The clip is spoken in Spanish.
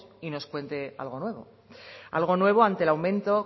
y nos cuente algo nuevo algo nuevo ante el aumento